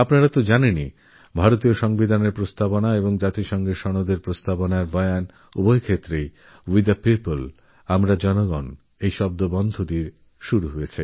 আপনারা নিশ্চয়ই জানবেন যেভারতের সংবিধানের প্রস্তাবনা আর ইউ এন চার্টারের প্রস্তাবনা দুটোই উই দ্য পিপ্লএই শব্দগুলো দিয়ে শুরু হয়